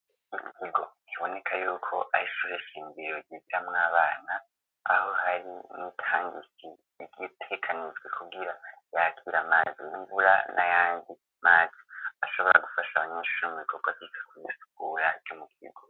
Inkigo iboneka yuko isreshinbiyogebya mw'abana paho hari nitangise byitekanijwe kubwira yakira madzi imbura na yangi matsi ashobora gufasha abanyinshisho mu bikoka bika kubisukura y'umukigo.